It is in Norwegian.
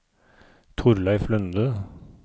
Thorleif Lunde